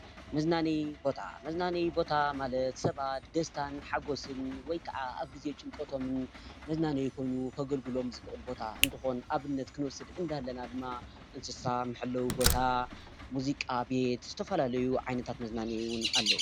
መዝናነዪ ቦታ፡- መዝናነዪ ቦታ ማለት ሰባት ደስታን ሓጎስን ወይ ከዓ ኣብ ጊዜ ጭንቀቶምን መዝናነዪ ኾይኑ ከገልግሎምን ዝኽእል ቦታ እንትኾን ኣብነት ክንወስድ እንዳለና ድማ እንስሳ መሐለዊ ቦታ፣ ሙዚቃ ቤት ዝተፈላለዩ ዓይነታት መዝናነዪ ውን ኣለው፡፡